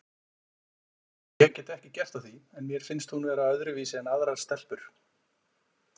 Ég get ekki gert að því en mér finnst hún vera öðruvísi en aðrar stelpur.